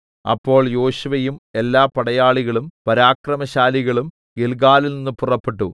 അപ്പോൾ യോശുവയും എല്ലാ പടയാളികളും പരാക്രമശാലികളും ഗില്ഗാലിൽനിന്ന് പുറപ്പെട്ടു